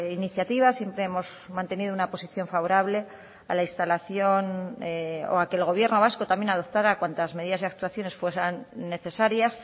iniciativas siempre hemos mantenido una posición favorable a la instalación o a que el gobierno vasco también adoptara cuantas medidas y actuaciones fueran necesarias